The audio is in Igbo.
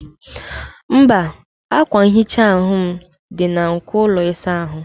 mba, akwa nhicha m dị na nko ụlọ ịsa ahụ